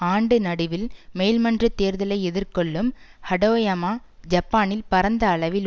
ஆண்டு நடுவில் மேல் மன்ற தேர்தலை எதிர்கொள்ளும் ஹடோயமா ஜப்பானில் பரந்த அளவில்